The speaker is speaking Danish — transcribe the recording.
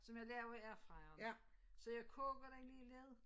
Som jeg laver i airfryer. Så jeg koger den lige lidt